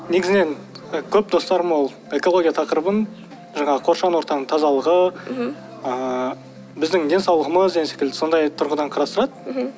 негізінен көп достарым ол экология тақырыбын жаңағы қоршаған ортаның тазалығы мхм ыыы біздің денсаулығымыз деген секілді сондай тұрғыдан қарастырады мхм